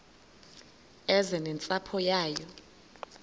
eze nentsapho yayo